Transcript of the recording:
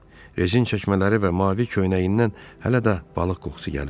Rezin çəkmələri və mavi köynəyindən hələ də balıq qoxusu gəlirdi.